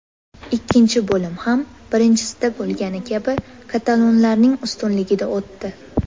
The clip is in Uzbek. Ikkinchi bo‘lim ham birinchisida bo‘lgani kabi katalonlarning ustunligida o‘tdi.